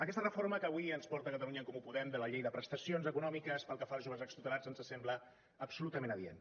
aquesta reforma que avui ens porta catalunya en comú podem de la llei de prestacions econòmiques pel que fa als joves extutelats ens sembla absolutament adient